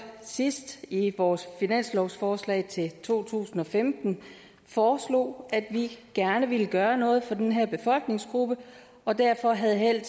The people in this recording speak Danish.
sidst i vores finanslovsforslag til to tusind og femten foreslog at vi gerne vil gøre noget for den her befolkningsgruppe og derfor havde held